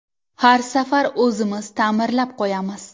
Har safar o‘zimiz ta’mirlab qo‘yamiz.